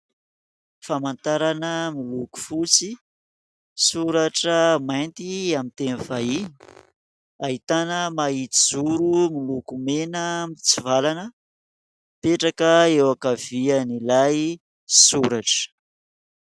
Famantarana miloko fotsy, soratra mainty amin'ny teny vahiny ahitana mahitsy zoro miloko mena mitsivalana mipetraka eo ankavian'ilay soratra.